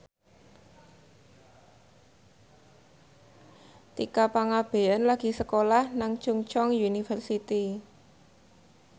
Tika Pangabean lagi sekolah nang Chungceong University